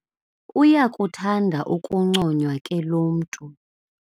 Uyakuthanda ukunconywa ke lo mntu.